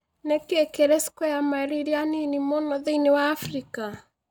Nĩ kĩĩ kĩrĩ square mile iria nini mũno thĩinĩ wa Afrika